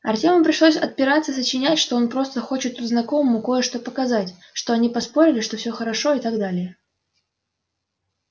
артёму пришлось отпираться и сочинять что он просто хочет тут знакомому кое-что показать что они поспорили что всё хорошо и так далее